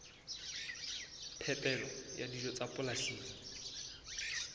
phepelo ya dijo tsa polasing